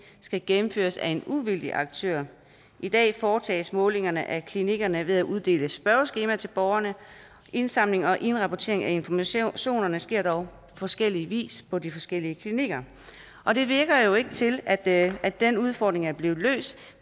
skal gennemføres af en uvildig aktør i dag foretages målingerne af klinikkerne ved at uddele spørgeskemaer til borgerne indsamling og indrapportering af informationerne sker dog på forskellig vis på de forskellige klinikker og det lader jo ikke til at at den udfordring er blevet løst